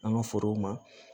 An ka forow ma